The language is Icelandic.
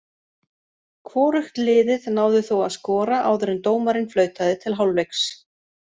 Hvorugt liðið náði þó að skora áður en dómarinn flautaði til hálfleiks.